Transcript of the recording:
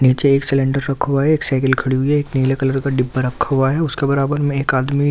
नीचे एक सिलेंडर रखा हुआ है एक साइकिल खड़ी हुई है एक नीले कलर का डिब्बा रखा हुआ है उसके बराबर में एक आदमी --